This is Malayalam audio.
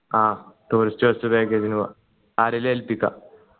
ആ tourist bus package ന് പോവാ ആരേലും ഏല്പിക്ക